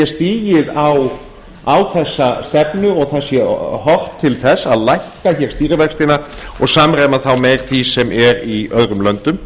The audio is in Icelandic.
stigið á þessa stefnu og það sé horft til þess að lækka hér stýrivextina og samræma þá með því sem er í öðrum löndum